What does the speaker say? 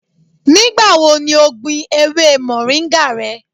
Nigbawo ni o gbin ewe moringa rẹ?